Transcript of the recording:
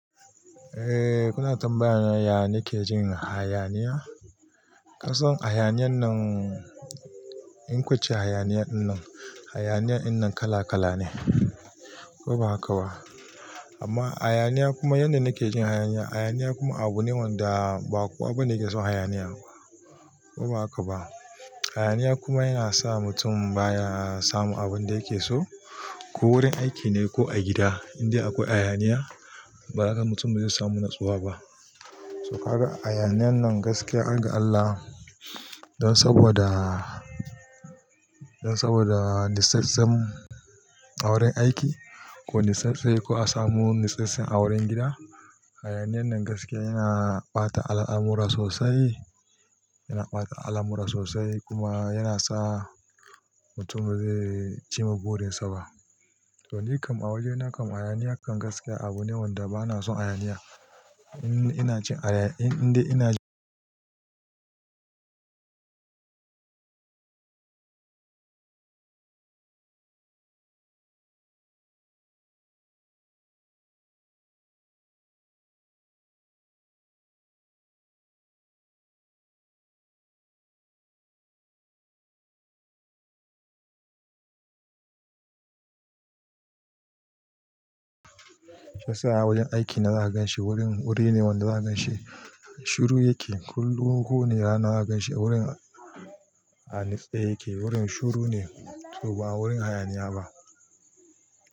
Eh kuna tambayana ya nake jin hayaniya? Kasan hayaniyan nan, in ku ce hayaniya in nan, hayaniya in nan kala kala ne. Ko ba haka ba? Amma hayaniya kuma yanda nake jin hayaniya. Hayaniya kuma abu ne wanda ba kowa bane yake son hayaniya. Ko ba haka ba? Hayaniya kuma yana sa mutum baya samu abin da yake so, ko wurin aiki ne ko a gida. Indai akwai hayaniya, ba haka mutum bazai samu natsuwa ba. To ka ga hayaniyan nan gaskiya, ga Allah don saboda, don saboda nitsantsen a wurin aiki ko nitsantse ko a samu nitsantse a wurin gida. Hayaniyan nan gaskiya yana ɓata al'amura sosai, yana ɓata al'amura sosai kuma yana sa mutum bazai cimma burinsa ba. To nikam a wajena kam hayaniya kan gaskiya abu ne wanda bana son hayaniya. Ina jin haya-- indai ina jin Shi yasa a wurin aiki na zaa ganshi wurin, wuri ne wanda zaa ganshi shiru yake. Kullum ko wane rana za ka ganshi wurin a niste yake. Wurin shiru ne to ba wurin hayaniya ba.